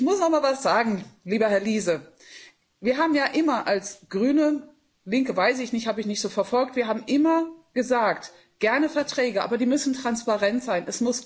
Ich muss aber mal was sagen, lieber Herr Liese Wir haben ja immer als Grüne Linke weiß ich nicht, das habe ich nicht so verfolgt gesagt gerne Verträge, aber die müssen transparent sein.